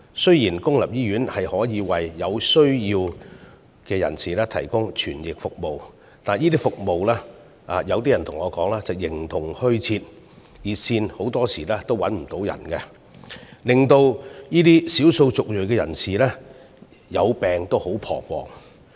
雖然公營醫院可以為有需要人士提供傳譯服務，但有人對我說，這些服務形同虛設，有關熱線經常無人接聽，令少數族裔人士在患病時感到很彷徨。